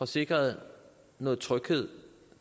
sikret noget tryghed